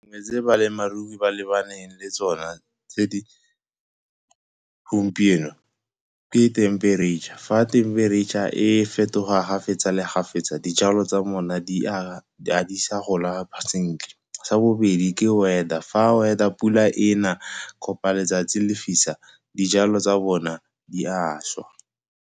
Tse balemirui ba lebaneng le tsona tse di gompieno ke themperetšha. Fa themperetšha e fetoga ga fetsa le ga fetsa, dijalo tsa ga di sa gola sentle. Sa bobedi ke weather, fa weather a pula e na kapa letsatsi le fisa, dijalo tsa bona di a šwa.